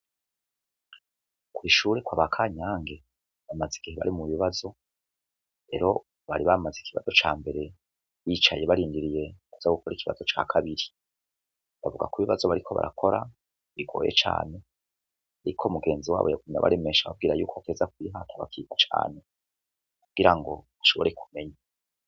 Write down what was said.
Kw'ishure kwaba Kanyange bamaze igihe bari mu bibazo rero bari bamaze ikibazo ca mbere bicaye barindiriye kuza gukora ikibazo ca kabiri, bavuga ko ibibazo bariko barakora bigoye cane ariko mugenzi wabo yagumye abaremesha ababwira yuko bategerezwa kwihata bakiga cane kugira ngo bashobore kumenya.